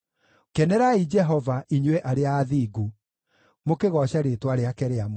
Kenerai Jehova, inyuĩ arĩa athingu, mũkĩgooce rĩĩtwa rĩake rĩamũre.